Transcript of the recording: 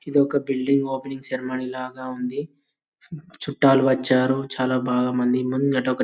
ఇది ఒక building opening ceremony లాగా ఉంది చుట్టాలు వచ్చారు చాలా బాగా మంది ముంగట ఒక --